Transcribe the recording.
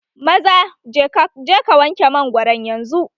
Maza je ka wanke mangwaron yanzu!